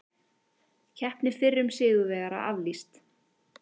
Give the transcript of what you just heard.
Keppni fyrrum sigurvegara aflýst